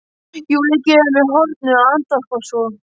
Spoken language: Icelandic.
Júlía gefur mér hornauga, andvarpar svo.